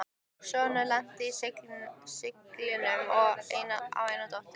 Sonurinn lenti í siglingum og á eina dóttur